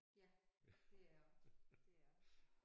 Ja det er jeg også. Det jeg også